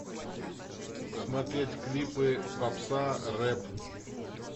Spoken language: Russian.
смотреть клипы попса рэп